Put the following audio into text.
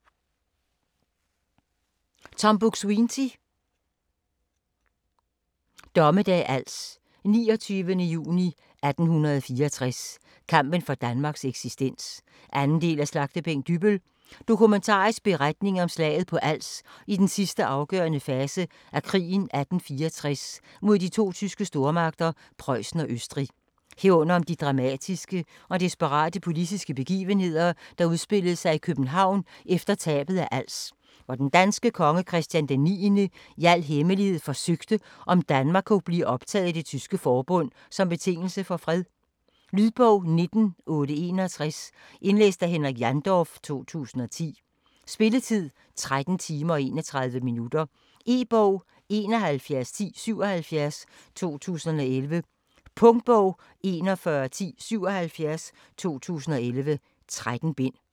Buk-Swienty, Tom: Dommedag Als: 29. juni 1864: kampen for Danmarks eksistens 2. del af Slagtebænk Dybbøl. Dokumentarisk beretning om slaget på Als i den sidste afgørende fase af krigen 1864 mod de to tyske stormagter Prøjsen og Østrig. Herunder om de dramatiske og desperate politiske begivenheder, der udspillede sig i København efter tabet af Als, hvor den danske konge Christian d. 9. i al hemmelighed forsøgte om Danmark kunne blive optaget i Det Tyske Forbund som betingelse for fred. Lydbog 19861 Indlæst af Henrik Jandorf, 2010. Spilletid: 13 timer, 31 minutter. E-bog 711077 2011. Punktbog 411077 2011. 13 bind.